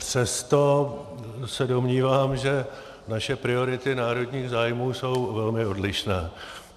Přesto se domnívám, že naše priority národních zájmů jsou velmi odlišné.